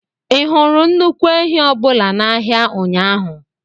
Ị hụrụ nnukwu ehi ọbụla n'ahịa ụnyaahụ?